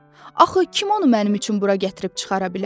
Axı kim onu mənim üçün bura gətirib çıxara bilər?